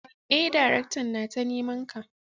eh daraktan nata nimanka.